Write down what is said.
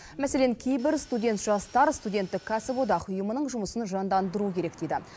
мәселен кейбір студент жастар студенттік кәсіподақ ұйымының жұмысын жандандыру керек дейді